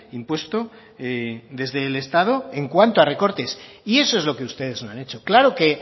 impuesto desde el estado en cuando a recortes y eso es lo que ustedes no han hecho claro que